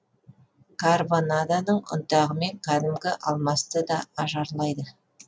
карбонадоның ұнтағымен кәдімгі алмасты да ажарлайды